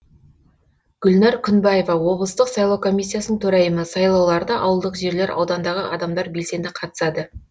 гүлнәр күнбаева облыстық сайлау комиссиясының төрайымы сайлауларда ауылдық жерлер аудандағы адамдар белсенді қатысады